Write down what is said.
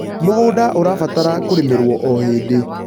mũgũnda ũrabatara kũrĩmirwo o hĩndĩ